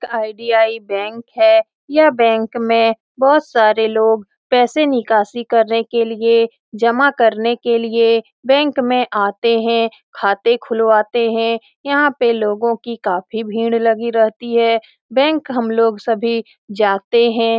IDI. Bank है यह bank में बहुत सारे लोग पैसे निकासी करने के लिए जमा करने के लिए बैंक में आते हैं खाते खुलवाते हैं यहाँ पे लोगो की काफी भीड़ लगी रहती है बैंक हम लोग सभी जाते हैं।